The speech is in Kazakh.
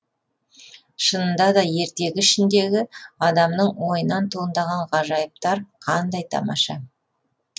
шынында да ертегі ішіндегі адамның ойынан туындаған ғажайыптар қандай тамаша